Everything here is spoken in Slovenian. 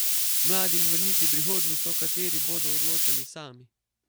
Mladim vrniti prihodnost, o kateri bodo odločali sami.